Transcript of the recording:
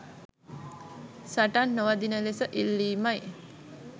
සටන් නොවදින ලෙස ඉල්ලීමයි.